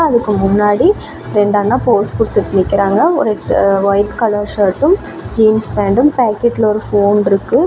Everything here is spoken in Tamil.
அதுக்கு முன்னாடி ரெண்டு அண்ணா போஸ் குடுத்துட்டு நிக்கறாங்க ஒரு வைட் கலர் ஷர்ட்டும் ஜீன்ஸ் பேண்டும் பாக்கெட்ல ஒரு ஃபோன் இருக்கு.